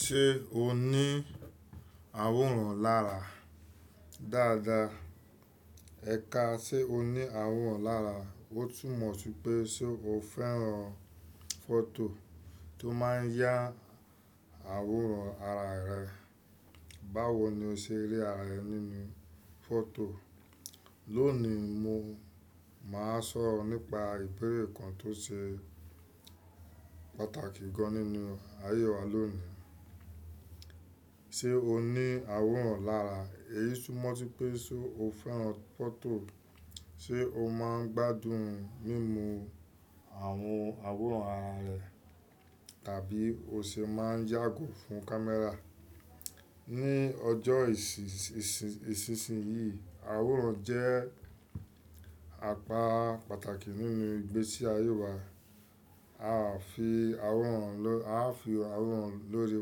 Ṣé o ní àwòrán lára dáadáa? Ẹ̀ka ṣe o ní àwòrán lára, ó tún mọ̀ sí pé ṣe o fẹ́ràn fọ́tò tó máa ń yá àwòrán ara rẹ. Báwo ni o ṣe rí ara rẹ nínú fọ́tò? Lónìí mo máa sọ̀rọ̀ nípa ìbéèrè kan tó ṣe pàtàkì gan nínú ayé wa lónìí. Ṣé o ní àwòrán lára? Èyí tún mọ̀ sí pé ṣe o fẹ́ràn fọ́tò, ṣe o máa ń gbádùn mímú àwọn àwòrán ara rẹ tàbí o ṣe máa ń yàgò fún camera. Ní ọjọ́ ìsísìnyí, àwòrán jẹ́ àpá pàtàkì nínú ìgbésí ayé wa. A á fi àwòrán lórí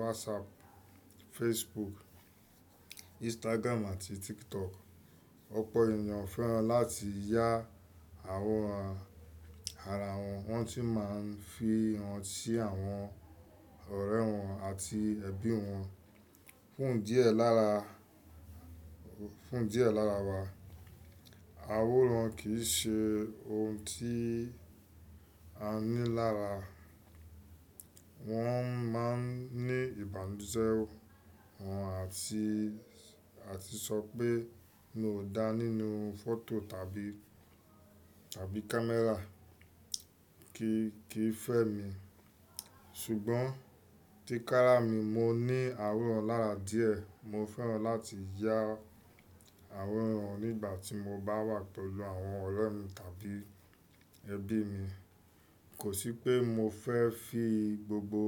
WhatsApp, Facebook, Instagram àti TikTok. Ọ̀pọ̀ ènìyàn fẹ́ràn láti yá àwòrán ara wọn, wọ́n sì máa ń fi wọn sí àwọn ọ̀rẹ́ wọn àti ẹbí wọn. Fún idi e lara lára wa, àwòrán kì í ṣe ohun tí a ní lára. Wọ́n máa ń ní ìbànújẹ́ wọ́n àti sọ pé mi ò dá nínú fọ́tò tàbí camera kì í fẹ́ mi. Ṣùgbọ́n tí kára mi, mo ní àwòrán lára díẹ̀. Mo fẹ́ràn láti yá àwòrán nígbà tí mo bá wà pẹ̀lú àwọn ọ̀rẹ́ mi tàbí ẹbí mi. Kò sí pé mo fẹ́ fi gbogbo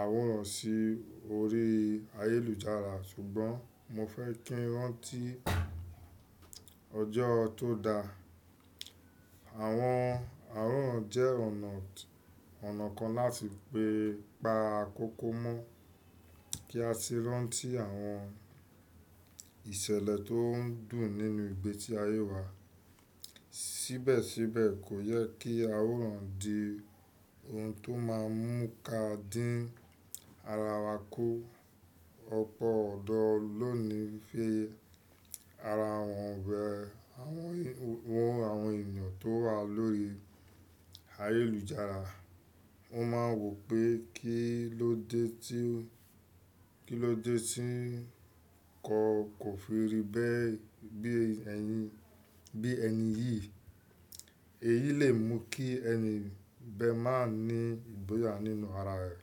àwòrán sí orí ayélujára, ṣùgbọ́n mo fẹ́ kí wọ́n ti ọjọ́ tó da. Àwọn àwòrán jẹ́ ọ̀nà kan láti pa ákókò mọ́ kí a sì rántí àwọn ìṣẹ̀lẹ̀ tó dùn nínú ìgbésí ayé wa. Síbẹ̀síbẹ̀ kò yẹ kí àwòrán di ohun tó máa ń mú ka dín ara wa kú. Ọ̀pọ̀ ọ̀dọ́ lónìí fi ara wọn wẹ àwọn ènìyàn tó wà lórí ayélujára. Wọ́n máa ń wò pé kí ló dé tí kọ kò fi rí bẹ́ẹ̀ bí ẹni yìí. Èyí lè mú kí ẹni bẹ máa ní ìgboyà nínú ara rẹ̀.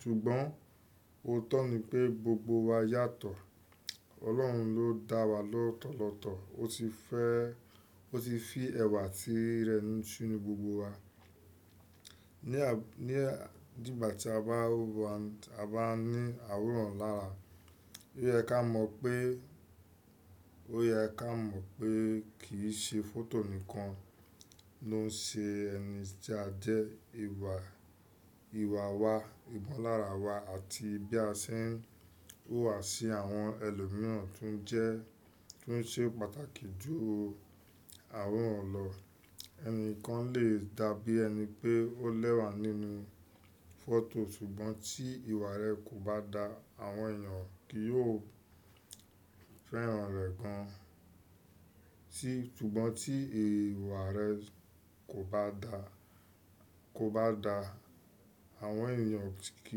Ṣùgbọ́n óòtọ́ ni pé gbogbo wa yàtọ̀. Ọlọ́run ló dá wa lọ́tọ̀lọ́tọ̀, ó sì fi ẹ̀wà tí rẹ̀ sínu gbogbo wa. Ní ìgbà tí a bá ní àwòrán lára, ó yẹ ká mọ̀ pé kì í ṣe fọ́tò nìkan ló ń ṣe ẹni tí a jẹ́. Ìwà wa, ìbọn lára wa àti bí a ṣe ń wà sí àwọn ẹlòmíràn tún jẹ́ pàtàkì jù àwòrán lọ. Ẹni kan lè dàbí ẹni pé ó lẹ́wà nínú fọ́tò ṣùgbọ́n tí ìwà rẹ̀ kò bá da, àwọn ènìyàn kì yóò fẹ́ràn rẹ̀ gan. Tí ìwà rẹ kò bá da, àwọn ènìyàn kì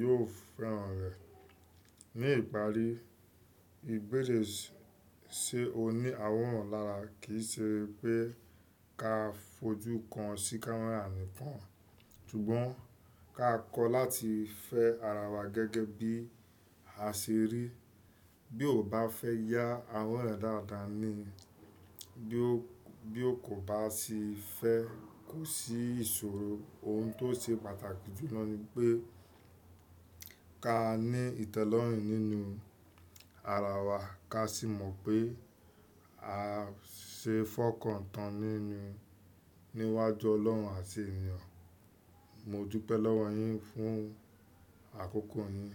yóò fẹ́ràn rẹ. Ní ìparí, ìbéèrè ṣe o ní àwòrán lára kì í ṣe pé ká fojú kan sí camera nìkan. Ṣùgbọ́n ká kọ́ láti fẹ́ ara wa gẹ́gẹ́ bí a ṣe rí. Bí o bá fẹ́ yá àwòrán rẹ dáadáa ni, bí ó kò bá sì fẹ́ kò sí ìṣòro. Ohun tó ṣe pàtàkì jùlọ ni pé ká ní ìtẹ́lọ́rùn nínú ara wa ká sì mọ̀ pé a ṣe fọkàn tán nínú níwájú Ọlọ́run àti ènìyàn. Mo júpẹ́ lọ́wọ́ yín fún àkókò yín.